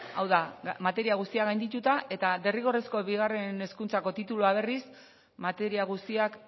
hau da materia guztiak gaindituta eta derrigorrezko bigarren hezkuntzako titulua berriz materia guztiak